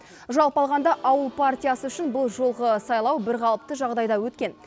жалпы алғанда ауыл партиясы үшін бұл жолғы сайлау бірқалыпты жағдайда өткен